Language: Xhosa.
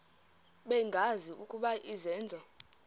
bengazi ukuba izenzo